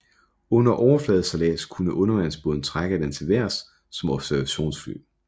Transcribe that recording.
Under overfladesejlads kunne undervandsbåden trække den til vejrs som observationsfly